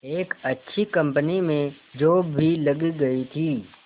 एक अच्छी कंपनी में जॉब भी लग गई थी